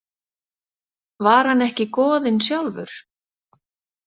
Var hann ekki goðinn sjálfur?